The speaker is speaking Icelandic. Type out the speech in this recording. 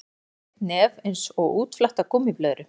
Hann er með þykkt nef einsog útflatta gúmmíblöðru.